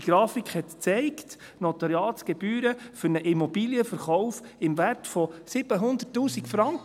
Diese Grafik zeigte die Notariatsgebühren für einen Immobilienverkauf im Wert von 700 000 Franken.